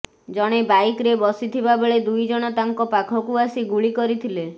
ଜଣେ ବାଇକ୍ରେ ବସିଥିବା ବେଳେ ଦୁଇଜଣ ତାଙ୍କ ପାଖକୁ ଆସି ଗୁଳି କରିଥିଲେ